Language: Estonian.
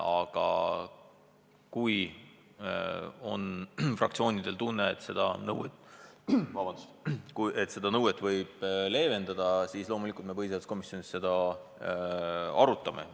Aga kui fraktsioonidel on tunne, et seda nõuet võib leevendada, siis loomulikult me põhiseaduskomisjonis seda arutame.